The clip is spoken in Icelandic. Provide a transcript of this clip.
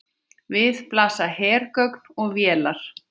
Við blasa hergögn og vélar.